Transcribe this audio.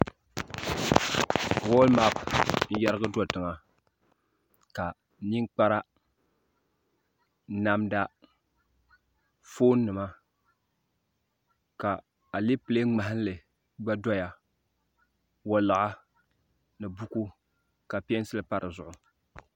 wɔɔlimapu n-yɛrigi do tiŋa ka ninkpara namda foonima ka alapile ŋmahili gba doya waliɣa ni buku ka peensili pa di zuɣu